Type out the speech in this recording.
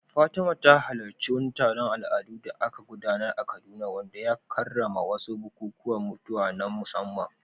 Fatima ta halarci wani taron al’adu da aka gudanar a Kaduna wanda ya karrama wasu bukukuwan mutuwa na musamman.